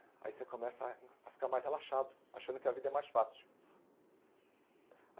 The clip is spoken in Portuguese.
Aí você começa a ficar mais relaxado, achando que a vida é mais fácil.